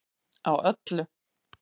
Á öllu